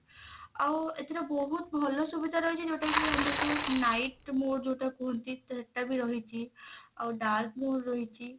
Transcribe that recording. ଆଉ ଏଥିରେ ବହୁତ ଭଲ ସୁବିଧା ରହିଛି ଯଉଟା କି ଆମର ଯଉ night mode ଯଉଟା କୁହନ୍ତି ସେଟା ବି ରହିଛି ଆଉ dark mode ରହିଛି